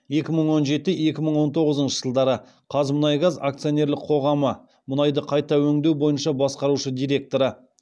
екі мың он жеті екі мың он тоғызыншы жылдары қазмұнайгаз акционерлік қоғамы мұнайды қайта өңдеу бойынша басқарушы директоры